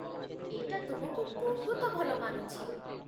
ଏଇଟା ତୁମକୁ ବହୁତ ଭଲ ମାନୁଛି ।